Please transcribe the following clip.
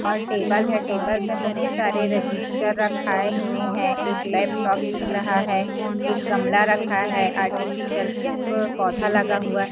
और टेबल है टेबल में बहुत सारे रजिस्टर रखाये हुए हैं एक लैपटॉप दिख रहा है एक गमला रखा है आर्टिफिशियल अ पौधा लगा हुआ--